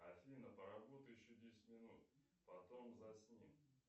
афина поработай еще десять минут потом засни